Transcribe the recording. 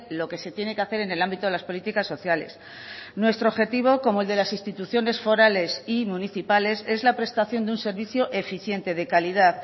lo que se tiene que hacer en el ámbito de las políticas sociales nuestro objetivo como el de las instituciones forales y municipales es la prestación de un servicio eficiente de calidad